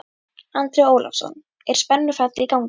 Andri Ólafsson: Er spennufall í gangi?